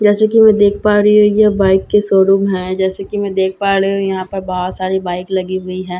जैसे कि मैं देख पा रही हूं यह बाइक की शोरूम है जैसे कि मैं देख पा ड़ही हूं यहां पर बहुत सारी बाइक लगी हुई है जैसे कि मैं दे--